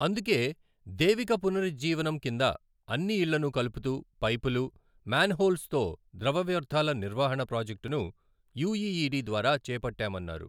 అందుకే దేవిక పునరుజ్జీవనం కింద అన్ని ఇళ్లను కలుపుతూ పైపులు, మ్యాన్హోల్స్తో ద్రవ వ్యర్థాల నిర్వహణ ప్రాజెక్టును యూఈఈడీ ద్వారా చేపట్టామన్నారు.